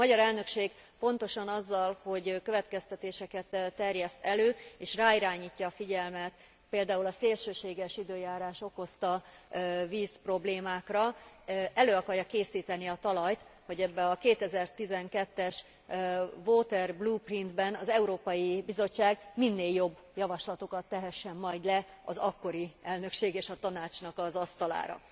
A magyar elnökség pontosan azzal, hogy következtetéseket terjeszt elő és ráirányítja a figyelmet például a szélsőséges időjárás okozta vízproblémákra, elő akarja készíteni a talajt, hogy ebben a 2012 es water blueprint ben az Európai Bizottság minél jobb javaslatokat tehessen majd le az akkori elnökség és a Tanácsnak az a asztalára.